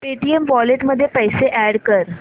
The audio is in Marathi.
पेटीएम वॉलेट मध्ये पैसे अॅड कर